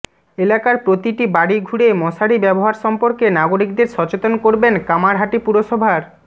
এলাকার প্রতিটি বাড়ি ঘুরে মশারি ব্যবহার সম্পর্কে নাগরিকদের সচেতন করবেন কামারহাটি পুরসভার